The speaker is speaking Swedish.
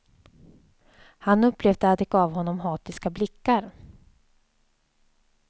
Han upplevde att de gav honom hatiska blickar.